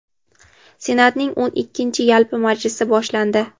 Senatning o‘n ikkinchi yalpi majlisi boshlandi.